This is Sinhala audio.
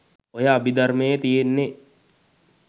ඔය අබිදර්මයේ තියෙන්නේ